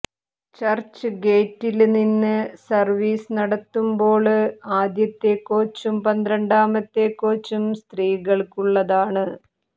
ചര്ച്ച്ഗേറ്റില്നിന്ന് service നടത്തുമ്ബോള് ആദ്യത്തെ കോച്ചും പന്ത്രണ്ടാമത്തെ കോച്ചും സ്ത്രികള്ക്കുള്ളതാണ്